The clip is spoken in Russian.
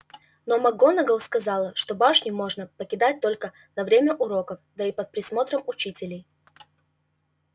но макгонагалл сказала что башню можно покидать только на время уроков да и под присмотром учителей